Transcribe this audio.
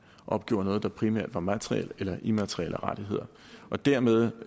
opgjorde noget der primært var materielle eller immaterielle aktiver og dermed